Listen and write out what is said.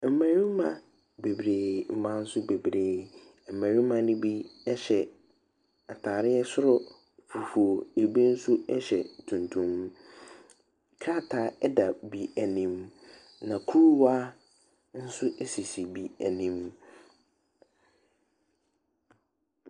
Mmɛrima beberee, mmaa nso bebree. Mmɛrima ne bi ɛhyɛ ataareɛ soro fufuo. Ebi nso ɛhyɛ tuntum. Kraata ɛda bi anim. Na kuruwa nso esisi bi anim.